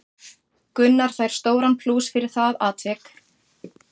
Gunnar fær stóran plús fyrir það atvik.